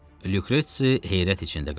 Lukresi heyrət içində qaldı.